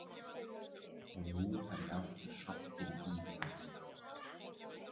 Og nú er ég aftur sokkinn í það.